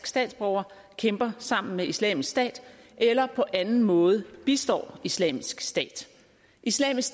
statsborger kæmper sammen med islamisk stat eller på anden måde bistår islamisk stat islamisk